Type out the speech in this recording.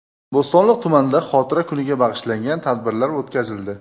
Bo‘stonliq tumanida xotira kuniga bag‘ishlangan tadbirlar o‘tkazildi .